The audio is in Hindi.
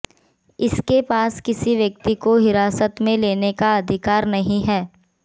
इसके पास किसी व्यक्ति को हिरासत में लेने का अधिकार नहीं है